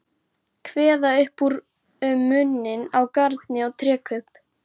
Kveða upp úr um muninn á garni og trékubb.